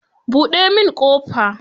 Buɗe min ƙofa.